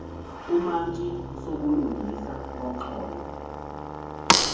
umantyi usobulungisa woxolo